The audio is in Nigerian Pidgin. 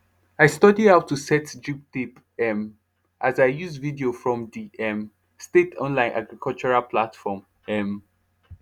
i study how to set drip tape um as i use video from the um state online agricultural platform um